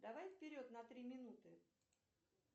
давай вперед на три минуты